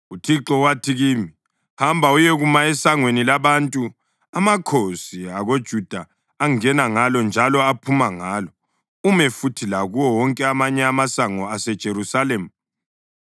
UThixo wathi kimi: “Hamba uyekuma esangweni labantu, amakhosi akoJuda angena ngalo njalo aphume ngalo; ume futhi lakuwo wonke amanye amasango aseJerusalema.